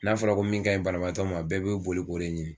N'a fɔra ko min ka in banabaatɔ ma bɛɛ be boli k'o de ɲini.